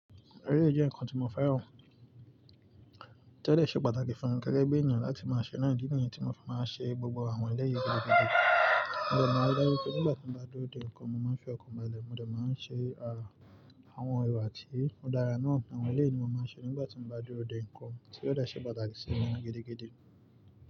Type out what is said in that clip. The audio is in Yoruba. Èleyi jẹ́ ǹkan tí mo fẹ́ràn. To de ṣe pàtàkì fún ẹni gegebi enìyàn láti máa ṣe náà. Di nìyẹn tí mo fi máa ń ṣe gbogbo àwọn eléyìí gidigidi. Mo dẹ̀ máa ń rí pé nígbà tí mo bá dúró de ǹkan mo máa ń fẹ́ ọkàn balẹ̀. Mo dẹ̀ máa ń ṣe àwọn èrò àti òdara náà. Àwọn eléyìí ni mo máa ń ṣe nígbà tí mo bá dúró de ǹkan tí ó dà ṣe pàtàkì sí ènìyàn gidigidi.